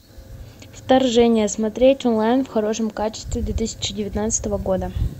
вторжение смотреть онлайн в хорошем качестве две тысячи девятнадцатого года